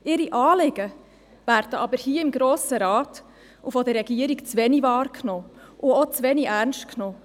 Ihre Anliegen werden jedoch im Grossen Rat und von der Regierung zuwenig wahrgenommen und auch zu wenig ernst genommen.